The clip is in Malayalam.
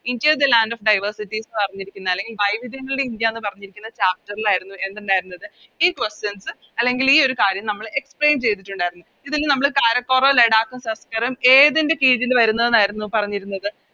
India the land of diversity എന്ന് പറഞ്ഞിരിക്കുന്ന അല്ലെങ്കിൽ വൈവിധ്യങ്ങളുടെ ഇന്ത്യ എന്ന് പറഞ്ഞിരിക്കുന്ന Chapter ൽ ആയിരുന്നു എന്തുണ്ടായിരുന്നത് ഈ Questions അല്ലെങ്കി ഈയൊരു കാര്യം നമ്മള് Explain ചെയ്തിറ്റുണ്ടായിരുന്നത് ഇതില് നമ്മള് കാരക്കോറം ലഡാക്ക് സസ്‌ക്കറും ഏതിൻറെ കീഴില് വരുന്നെന്ന് ആയിരുന്നു പറഞ്ഞിരുന്നത്